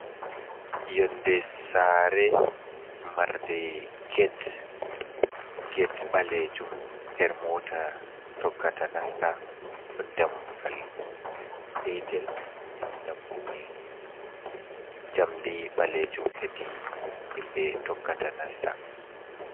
Yonde sare marnde get, get balejum her mota tokkata nasta, ɗon dambugal petel dammugal jamdi ɓalejum hedi himɓe tokkata nasta.